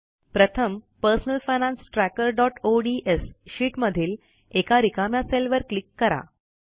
प्रथम personal finance trackerओडीएस sheet मधील एका रिकाम्या सेलवर क्लिक करा